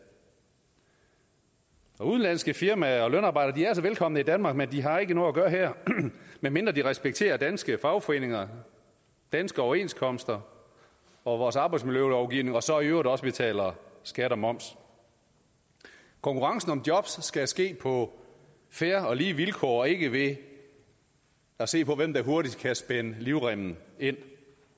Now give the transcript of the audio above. udenlandske firmaer og lønarbejdere er altså velkomne i danmark men de har ikke noget at gøre her medmindre de respekterer danske fagforeninger danske overenskomster og vores arbejdsmiljølovgivning og så i øvrigt også betaler skat og moms konkurrencen om jobs skal ske på fair og lige vilkår og ikke ved at se på hvem der hurtigst kan spænde livremmen ind